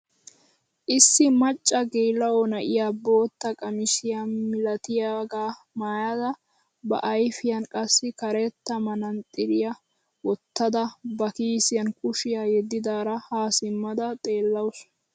Issi macca geela'o na'iyaa bootta qamisiyaa milatiyaagaa maayada ba ayfiyaan qassi karetta manatsiriyaa wottada ba kiisiyaan kushiyaa yeddidara ha simmada xeellawus.